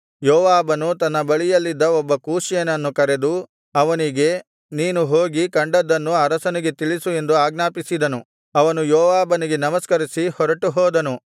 ಯೋವಾಬನು ತನ್ನ ಬಳಿಯಲ್ಲಿದ್ದ ಒಬ್ಬ ಕೂಷ್ಯನನ್ನು ಕರೆದು ಅವನಿಗೆ ನೀನು ಹೋಗಿ ಕಂಡದ್ದನ್ನು ಅರಸನಿಗೆ ತಿಳಿಸು ಎಂದು ಆಜ್ಞಾಪಿಸಿದನು ಅವನು ಯೋವಾಬನಿಗೆ ನಮಸ್ಕರಿಸಿ ಹೊರಟುಹೋದನು